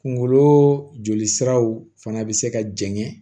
Kunkolo jolisiraw fana bɛ se ka jɛngɛ